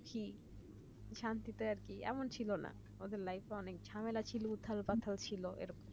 শান্তিতে আর কেমন ছিল ওদের life অনেক ঝামেলা ছিল উঠার কথা ছিল